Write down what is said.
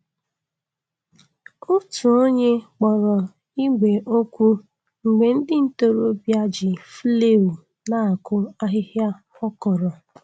Otu onye kpọrọ igbè okwu mgbe ndị ntorobịa ji flail na-akụ ahịhịa akọrọ.